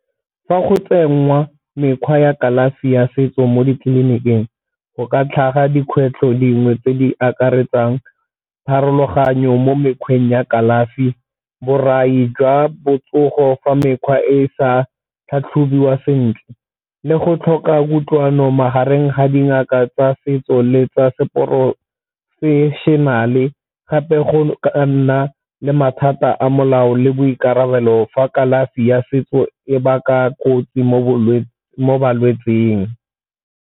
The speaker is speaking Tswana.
Fa go tsengwa mekgwa ya kalafi ya setso mo ditleliniking go ka tlhaga dikgwetlho dingwe tse di akaretsang pharologanyo mo mekgweng ya kalafi, borai jwa botsogo fa mekgwa e e sa tlhatlhobiwa sentle le go tlhoka kutlwano magareng ga dingaka tsa setso le tsa se professional-e, gape go nna le mathata a molao le boikarabelo fa kalafi ya setso e baka kotsi mo balwetseng.